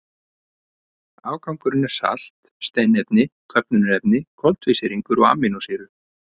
Afgangurinn er salt, steinefni, köfnunarefni, koltvísýringur og amínósýrur.